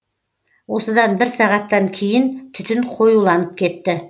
осыдан бір сағаттан кейін түтін қоюланып кетті